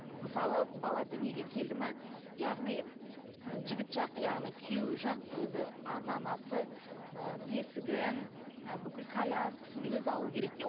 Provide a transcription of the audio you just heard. мысалы бала дүниеге келді ме яғни жігіт жақ яғни күйеу жақ өзі ата анасы ы бесігін ы бүкіл коляскасын өзі алу керек те